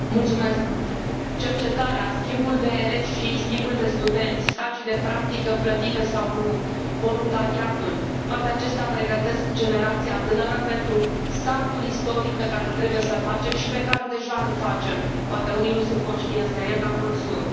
Domnule președinte, cercetarea, schimbul de elevi și schimbul de studenți, stagiile de practică plătite sau nu, voluntariatul, toate acestea pregătesc generația tânără pentru saltul istoric pe care trebuie să îl facem și pe care deja îl facem poate unii nu sunt conștienți de el, dar mulți sunt.